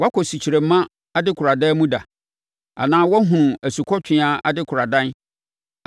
“Woakɔ sukyerɛmma adekoradan mu da, anaa woahunu asukɔtweaa adekoradan